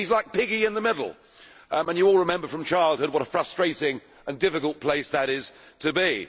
He is like piggy in the middle, and you all remember from childhood what a frustrating and difficult place that is to be.